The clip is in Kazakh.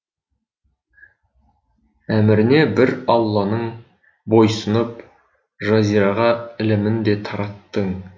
әміріне бір алланың бойсұнып жазираға ілімін де тараттың